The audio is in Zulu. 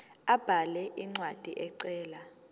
abhale incwadi ecela